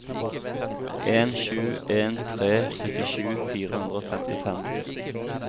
en sju en tre syttisju fire hundre og femtifem